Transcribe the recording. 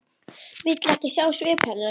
Vill ekki sjá svip hennar.